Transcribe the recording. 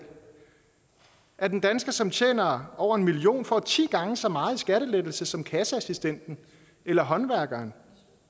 at en dansker som tjener over en million kr får ti gange så meget i skattelettelse som kasseassistenten eller håndværkeren